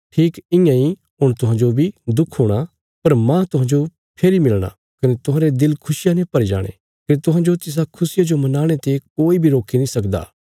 ठीक इयां इ हुण तुहांजो बी दुख हुणा पर मांह तुहांजो फेरी मिलणा कने तुहांरे दिल खुशियां ने भरी जाणे कने तुहांजो तिसा खुशिया जो मनाणे ते कोई बी रोकी नीं सकदा